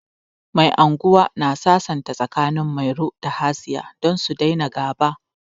Mai anguwa na sasanta tsakanin Mairo da Hasiya don su daina ga'ba.